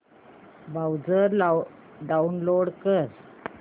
browser download कर